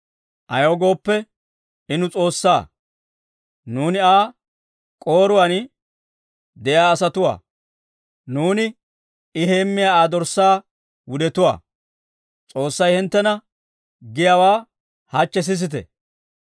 Ayaw gooppe, I nu S'oossaa. Nuuni Aa k'ooruwaan de'iyaa asatuwaa; nuuni I heemmiyaa Aa dorssaa wudetuwaa. S'oossay hinttena giyaawaa hachchi sisite!